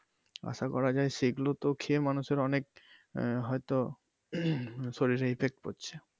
আশা করা যায় সেইগুলো তো খেয়ে মানুষের অনেক আহ হয়তো শরীরে effect পরছে।